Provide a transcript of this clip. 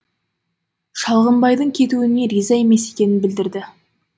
шалғымбайдың кетуіне риза емес екенін білдірді